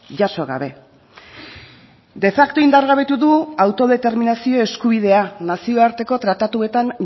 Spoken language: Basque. jaso gabe de facto indargabetu du autodeterminazio eskubidea nazioarteko tratatuetan